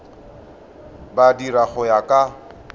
di dira go ya ka